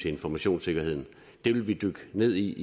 informationssikkerheden det vil vi dykke ned i